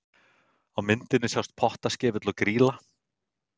Á myndinni sjást Pottaskefill og Grýla.